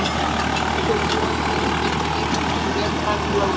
Samkvæmt löghyggju gengur heimurinn fyrir vélrænum lögmálum.